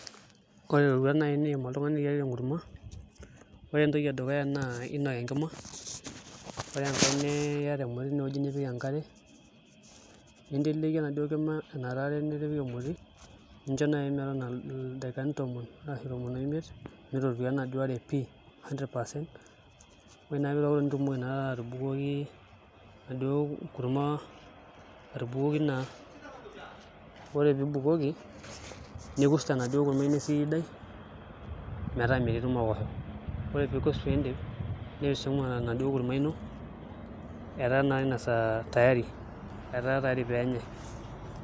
Ore iroruat nai niiyiem oltungani iyiarita enkurma ore entoki edukunya naa ainok enkima ore enkae niyata emoti teniwuji nipik enkare ninteleki enaduo kima enataare nitipik emoti nincho nai metotona ildaikani tomon arashu tomon oimit metotua enaduo are pii 100% ore naa peitokitok nitumoki naa atubuloki naa ore piibukoki nikurs enaduo kurma ino esidai metaa metii ilmokosho ore piikurs piindip nipisingu enaduo kurma ino etaa naa inasaa tayari peenyae